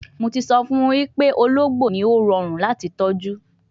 Mo ti so fun wipe ologbo ni o wa rorun lati tọju